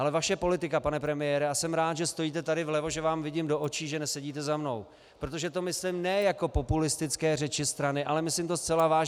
Ale vaše politika, pane premiére, a jsem rád, že stojíte tady vlevo, že vám vidím do očí, že nesedíte za mnou, protože to myslím ne jako populistické řeči strany, ale myslím to zcela vážně.